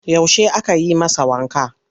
Yaushe aka yi masa wanka?